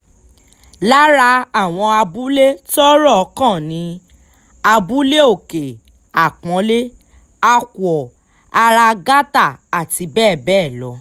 lára àwọn abúlé tọ́rọ̀ kàn ni abúlé òkè-àpọ́nlé àkúọ ara gátà àti bẹ́ẹ̀ bẹ́ẹ̀ lọ